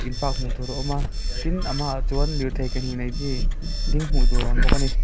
in park hmutur a awm a tin a hmaah chuan lirthei ke hnih nei chi ding hmuh tur a awm bawk a ni.